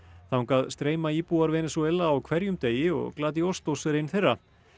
þangað streyma íbúar Venesúela á hverjum degi og Glady Ostos er ein þeirra